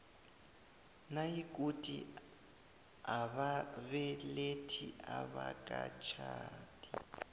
nayikuthi ababelethi abakatjhadi